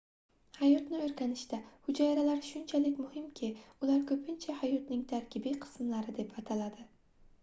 hayotni oʻrganishda hujayralar shunchalik muhimki ular koʻpincha hayotning tarkibiy qismlari deb ataladi